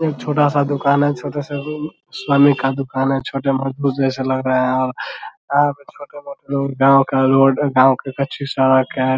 एक छोटा सा दुकान है छोटे सा रूम स्वामी का दुकान है छोटे मजदूर जैसा लग रहे है और यहां पे छोटे-मोटे लोग गाँव का रोड गाँव की कच्ची सड़क है ।